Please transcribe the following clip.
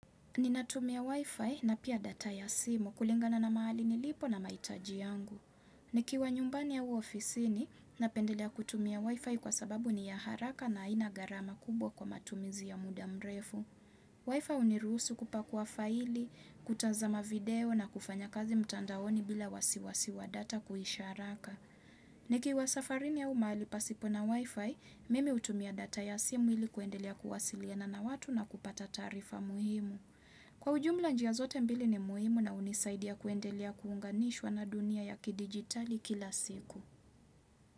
Ninatumia wifi na pia data ya simu kulingana na mahali nilipo na mahitaji yangu. Nikiwa nyumbani au ofisini, napendelea kutumia wifi kwa sababu ni ya haraka na haina gharama kubwa kwa matumizi ya muda mrefu. Wifi hunirusi kupakuwa faili, kutazama video na kufanya kazi mtandaoni bila wasiwasi wa data kuisha haraka. Nikiwa safarini au mahali pasipo na wifi, mimi hutumia data ya simu ili kuendelea kuwasiliana na watu na kupata taarifa muhimu. Kwa ujumla njia zote mbili ni muhimu na hunisaidia kuendelea kuunganishwa na dunia ya kidigitali kila siku.